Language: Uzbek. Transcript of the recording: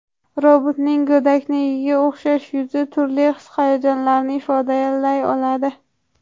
Robotning go‘daknikiga o‘xshash yuzi turli his-hayajonlarni ifodalay oladi.